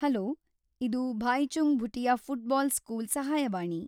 Hello, ಇದು Bhaichung Bhutia football school ಸಹಾಯವಾಣಿ.